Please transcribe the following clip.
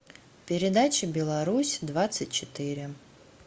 передача беларусь двадцать четыре